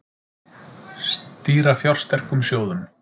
Stýra fjársterkum sjóðum